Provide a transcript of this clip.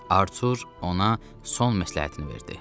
Artur ona son məsləhətini verdi.